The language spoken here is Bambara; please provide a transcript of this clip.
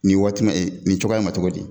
Ni waati ma nin cogoya in ma cogo di